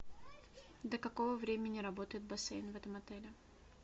до какого времени работает бассейн в этом отеле